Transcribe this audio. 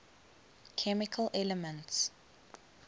chemical elements